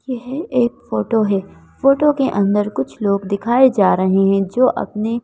यह एक फोटो है फोटो के अंदर कुछ लोग दिखाए जा रहे हैं जो अपने--